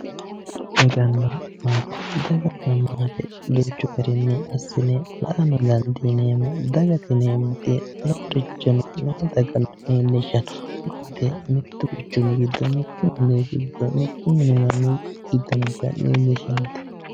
Daganna maate, daganna maate duuchu garinni assine la'ano dandiineemmo. dagate yinayi wote loorichono noo daga leellishshanno. maate mittu quchumi giddo mittu ollii, mittu mini manni noota leellishshanno